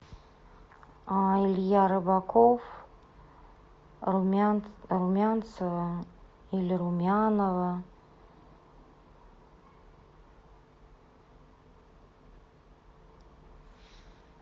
илья рыбаков румянцева или румянова